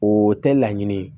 O tɛ laɲini ye